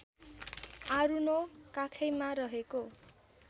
आरुनो काखैमा रहेको